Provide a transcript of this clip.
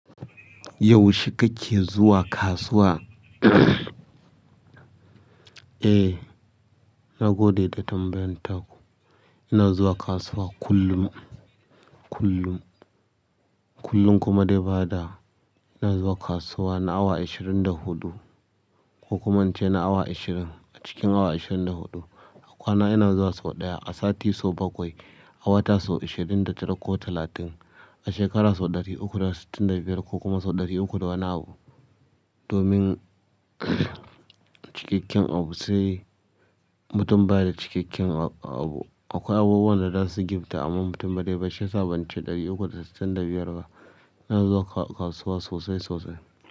Yau she kake zuwa kasuwa? Eh, na gode da tambayan ta. Ina zuwa kasuwa kullum, kullum. Kullum kuma dai ba da, ina zuwa kasuwa na awa ishirin da huɗu ko kuma in ce na awa ishirin. A cikin awa ishirin da huɗu, a kwana ina zuwa sau ɗaya, a sati sau bakwai, a wata sau ishirin da tara ko talatin, a shekara sau ɗari uku da sittin da biyar ko kuma sau ɗari uku da wani abu. Domin cikakken abu sai mutum baya da cikakken abu. Akwai abubuwan da za su gifta amma mutum ba zaije ba shi yasa ban ce ɗari uku da sittin da biyar ba. Ina zuwa kasuwa sosai sosai.